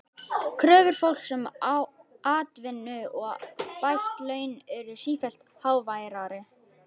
Kröfur fólks um atvinnu og bætt laun urðu sífellt háværari.